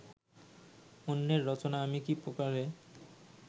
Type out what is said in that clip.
অন্যের রচনা আমি কি প্রকারে